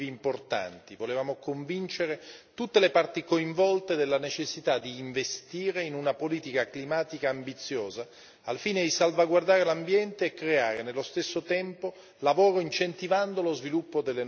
Volevamo convincere tutte le parti coinvolte della necessità di investire in una politica climatica ambiziosa, al fine di salvaguardare l'ambiente e creare nello stesso tempo lavoro, incentivando lo sviluppo delle nuove tecnologie.